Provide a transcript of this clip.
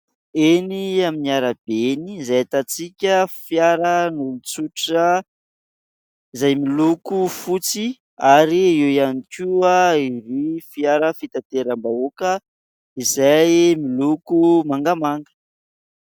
Eny amin'ny arabe eny, izay ahitantsika fiaran'olon-tsotra izay miloko fotsy ary eo ihany koa irony fiara fitanteram-bahoaka izay miloko mangamanga.